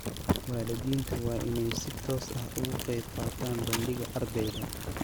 Waalidiintu waa inay si toos ah uga qayb qaataan bandhigga ardeyga.